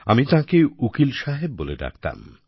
আমি তাঁকে উকিল সাহেব বলে ডাকতাম